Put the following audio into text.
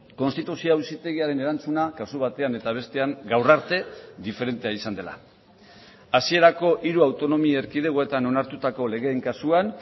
konstituzio auzitegiaren erantzuna kasu batean eta bestean gaur arte diferentea izan dela hasierako hiru autonomia erkidegoetan onartutako legeen kasuan